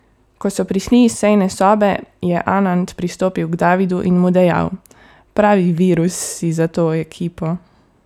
Ko so prišli iz sejne sobe, je Anand pristopil k Davidu in mu dejal: "Pravi virus si za to ekipo.